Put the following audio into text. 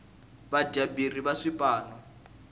vadyaberi va swipano